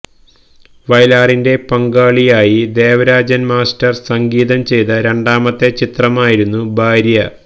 വയലാറിന്റെ പങ്കാളിയായി ദേവരാജന് മാസ്റ്റര് സംഗീതം ചെയ്ത രണ്ടാമത്തെ ചിത്രമായിരുന്നു ഭാര്യ